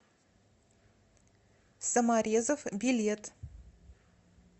саморезов билет